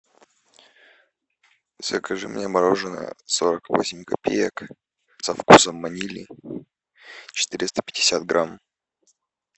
закажи мне мороженое сорок восемь копеек со вкусом ванили четыреста пятьдесят грамм